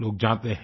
लोग जाते हैं